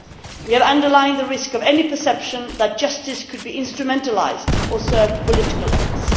We have underlined the risk of any perception that justice could be instrumentalised or serve political events.